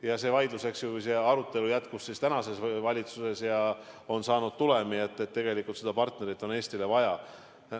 Ja see vaidlus, see arutelu jätkus tänases valitsuses ja on jõudnud tulemuseni, et seda partnerit on tegelikult Eestile vaja.